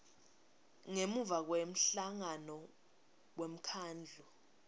ngemuva kwemhlangano wemkhandlu